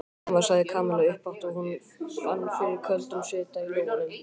Mamma sagði Kamilla upphátt og hún fann fyrir köldum svita í lófunum.